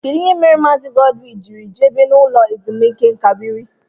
Kedụ ihe mere Maazi Godwin jírí jebe no ụlọ ezumike nká biri?